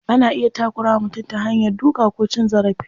Ana iya takura wa mutum ta hanya duka ko cin zarafi.